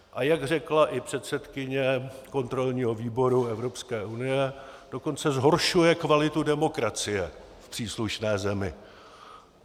A jak řekla i předsedkyně kontrolního výboru Evropské unie, dokonce zhoršuje kvalitu demokracie v příslušné zemi.